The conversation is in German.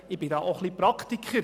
Da bin ich auch Praktiker.